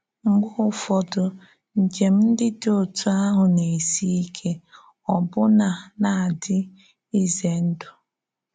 Mgbe ụfọdụ̀, njem ndị dị otú ahụ na-èsi ike, ọbụna na-ádị ízè ndú.